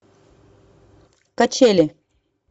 качели